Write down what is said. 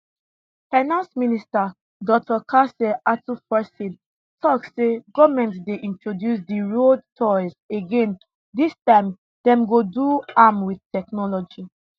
finance minister dr casiel ato forson tok say goment dey introduce di road tolls again dis time dem go do am wit technology